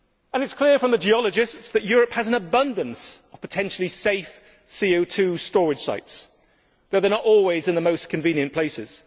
It is clear from the geologists that Europe has an abundance of potentially safe CO 2 storage sites, although they are not always in the most convenient places.